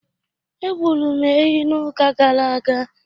Egburu m ehi n'ụka gara aga.